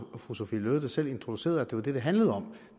fru sophie løhde der selv introducerede at det det handlede om